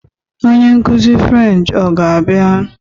Onye nkuzi French ọ ga-abịa?